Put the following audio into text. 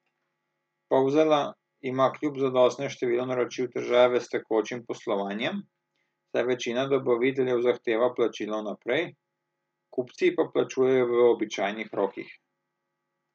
Polzela ima kljub zadostnemu številu naročil težave s tekočim poslovanjem, saj večina dobaviteljev zahteva plačilo vnaprej, kupci pa plačujejo v običajnih rokih.